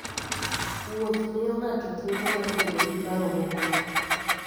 Wuoth miyo ng'ato thuolo mar bedo gi paro mokuwe.